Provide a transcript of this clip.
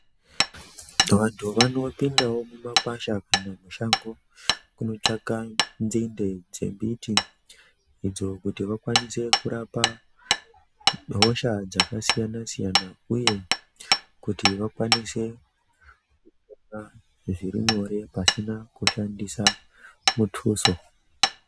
Vantu vanopindawo mumakwasha mumashango kundotsvaka nzinde dzembiti idzo kuti vakwanise kurapa hosha dzakasiyana siyana uye kuti vakwanise kupora zviri nyore pasina kushandisa mutuso.